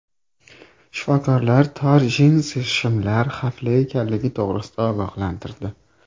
Shifokorlar tor jinsi shimlar xavfli ekanligi to‘g‘risida ogohlantirdi.